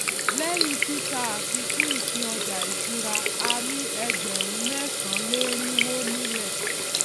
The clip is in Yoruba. lẹyìn títà àfikún ìpín ọjà ìṣúra a ní ẹgbẹrún mẹsànánléerinwó nílè